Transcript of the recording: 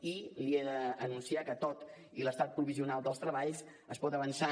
i li he d’anunciar que tot i l’estat provisional dels treballs es pot avançar